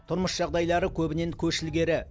тұрмыс жағдайлары көбінен көш ілгері